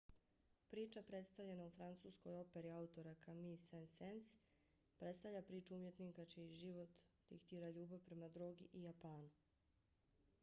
priča predstavljena u francuskoj operi autora camille saint-saens predstavlja priču umjetnika čiji život diktira ljubav prema drogi i japanu.